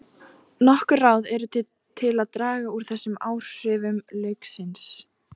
Nokkur ráð eru til að draga úr þessum áhrifum lauksins.